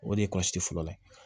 O de ye fɔlɔ ye